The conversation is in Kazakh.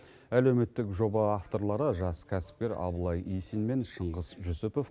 әлеуметтік жоба авторлары жас кәсіпкер абылай исин мен шыңғыс жүсіпов